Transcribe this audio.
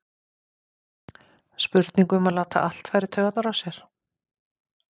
Spurning um að láta allt fara í taugarnar á sér?